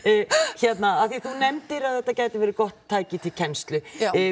hérna af því að þú nefndir að þetta gæti verið gott tæki til kennslu